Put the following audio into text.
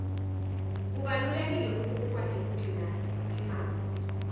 kubalulekile kutsi ukwati kugcina imali